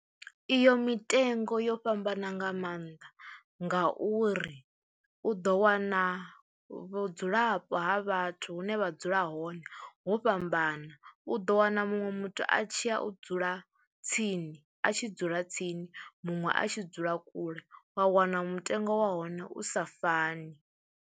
Iyo mitengo yo fhambana nga maanḓa ngauri u ḓo wana vhudzulapo ha vhathu hune vha dzula hone ho fhambana kana u ḓo wana muṅwe muthu a tshi ya, u dzula tsini a tshi dzula tsini muṅwe a tshi dzula kule, wa wana mutengo wa hone u sa fani.